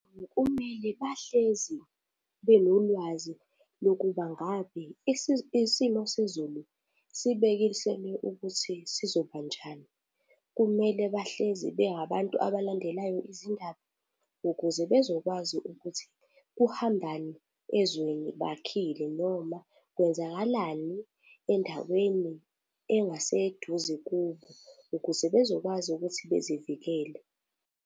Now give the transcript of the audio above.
Kumele bahlezi benolwazi lokuba ngabe isiphi isimo sezulu sibekisele ukuthi sizoba njani. Kumele bahlezi bengabantu abalandelayo izindaba ukuze bezokwazi ukuthi kuhambani ezweni bakhile noma kwenzakalani endaweni engaseduze kubo ukuze bezokwazi ukuthi bevikele.